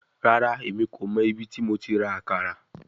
Rara, Emi ko mọ ibiti mo ti ra akara